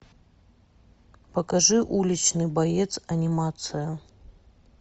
покажи уличный боец анимация